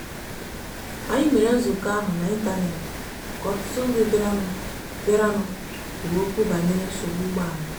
anyị mere nzukọ ahụ n'ịntanet ka ọtụtụ ndị bịaranụ bịaranụ kwuru okwu banyere nsogbu ụgbọala.